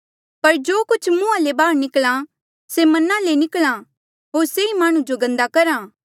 पर जो कुछ मुंहा ले बाहर निकल्हा से मना ले निकल्हा होर से ई माह्णुं जो गन्दा करहा